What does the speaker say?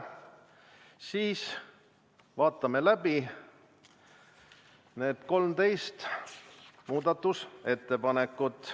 Sel juhul vaatame läbi need 13 muudatusettepanekut.